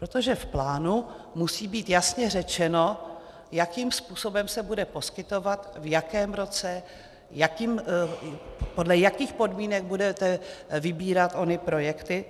Protože v plánu musí být jasně řečeno, jakým způsobem se bude poskytovat, v jakém roce, podle jakých podmínek budete vybírat ony projekty.